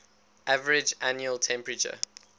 average annual temperature